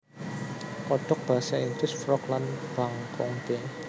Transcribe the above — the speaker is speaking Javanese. Kodhok basa Inggris frog lan bangkong b